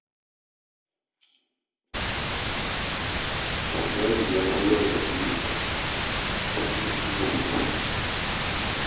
Wanzami ya zo yi wa jariri aski tare cire masa beli.